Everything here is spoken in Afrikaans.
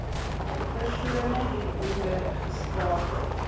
persone hieronder skakel